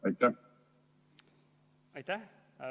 Aitäh!